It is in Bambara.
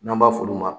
N'an b'a f'olu ma